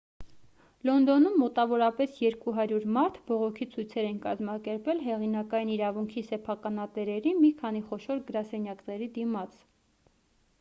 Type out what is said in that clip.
լոնդոնում մոտավորապես 200 մարդ բողոքի ցույցեր են կազմակերպել հեղինակային իրավունքի սեփականատերերի մի քանի խոշոր գրասենյակների դիմաց